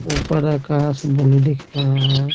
ऊपर आकाश ब्लू दिख रहा है।